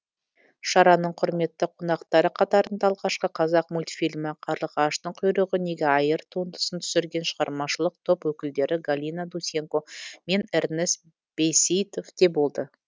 шараның құрметті қонақтары қатарында алғашқы қазақ мультфильмі қарлығаштың құйрығы неге айыр туындысын түсірген шығармашылық топ өкілдері галина дусенко мен эрнест бейсейітов те болды